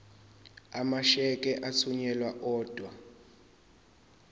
amasheke athunyelwa odwa